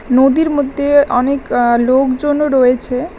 নদীর মদ্যে অনেক আঃ লোকজনও রয়েছে।